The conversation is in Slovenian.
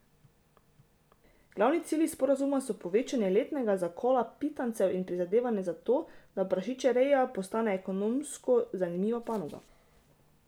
Glavni cilji sporazuma so povečanje letnega zakola pitancev in prizadevanje za to, da prašičereja postane ekonomsko zanimiva panoga.